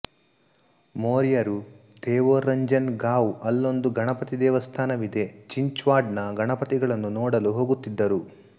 ಮೋರ್ಯರು ಥೇವೂರ್ರಂಜನ್ ಗಾವ್ಅಲ್ಲೊಂದು ಗಣಪತಿ ದೇವಸ್ಥಾನವಿದೆ ಚಿಂಚ್ವಾಡ್ ನ ಗಣಪತಿಗಳನ್ನು ನೋಡಲು ಹೋಗುತ್ತಿದ್ದರು